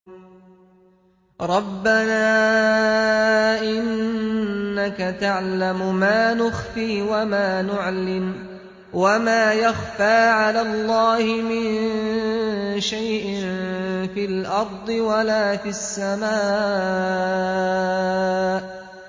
رَبَّنَا إِنَّكَ تَعْلَمُ مَا نُخْفِي وَمَا نُعْلِنُ ۗ وَمَا يَخْفَىٰ عَلَى اللَّهِ مِن شَيْءٍ فِي الْأَرْضِ وَلَا فِي السَّمَاءِ